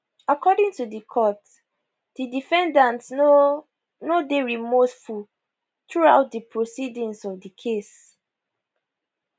according to di court di defendant no no dey remorseful through out di proceedings of case